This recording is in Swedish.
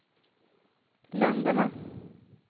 länderna